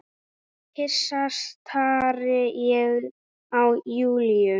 Hissa stari ég á Júlíu.